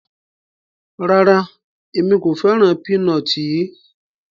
Rárá, Emi ko fẹran pinọti yii